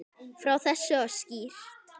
Frá þessu var skýrt.